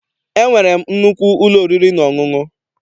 E nwere m nnukwu ụlọ oriri na ọṅụṅụ.